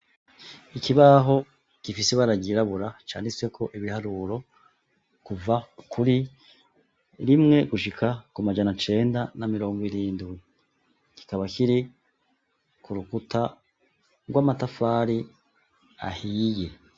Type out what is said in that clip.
ikibaho gifise ibara ryirabura canditse ko ibiharuro kuva kuri rimwe gushika ku majana cenda na mirongo irindwi kikaba kiri ku rukuta rw'amatafari ahiye.